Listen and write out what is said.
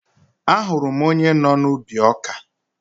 Ahụrụ m onye nọ n'ubi ọkà